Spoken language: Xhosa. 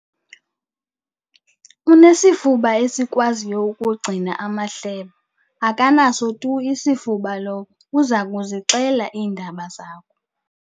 Unesifuba esikwaziyo ukugcina amahlebo. akanaso tu isifuba lowo uza kuzixela iindaba zakho